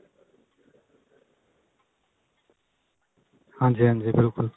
ਹਾਂਜੀ ਹਾਂਜੀ ਬਿਲਕੁਲ